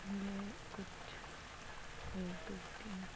ये कुछ एक दो तीन चार--